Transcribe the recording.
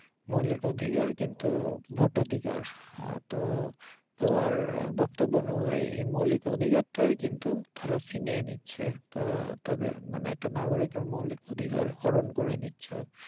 মৌলিক অধিকার কিন্তু ভোটাধিকার আহ তো তোমার বক্তব্য অনুযায়ী মৌলিক অধিকারটাই কিন্তু তারা ছিনিয়ে নিচ্ছে তারা তাদের মানে একাটা নাগরিকের মৌলিক অধিকার হরন করে নিচ্ছে